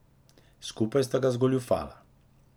Skupaj sta ga zgoljufala.